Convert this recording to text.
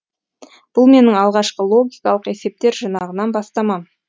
бұл менің алғашқы логикалық есептер жинағынан бастамам